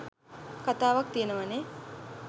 කතාවක් ති‍යෙනවානේ.